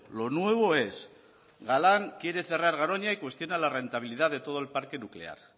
lo nuevo es galán quiere cerrar garoña y cuestiona la rentabilidad de todo el parque nuclear